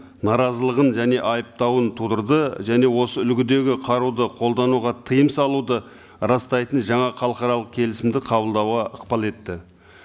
наразылығын және айыптауын тудырды және осы үлгідегі қаруды қолдануға тыйым салуды растайтын жаңа халықаралық келісімді қабылдауға ықпал етті